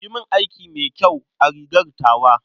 Yi min aiki mai kyau a rigar tawa.